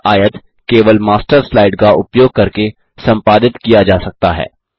यह आयत केवल मास्टर स्लाइड का उपयोग करके संपादित किया जा सकता है